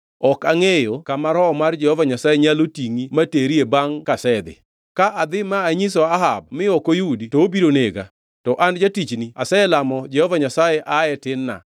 Ok angʼeyo kama Roho mar Jehova Nyasaye nyalo tingʼi ma terie bangʼ kasedhi. Ka adhi ma anyiso Ahab mi ok oyudi to obiro nega. To an jatichni aselamo Jehova Nyasaye ae tin-na.